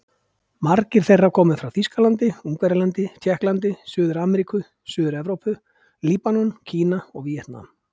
Margir þeirra komu frá Þýskalandi, Ungverjalandi, Tékklandi, Suður-Ameríku, Suður-Evrópu, Líbanon, Kína og Víetnam.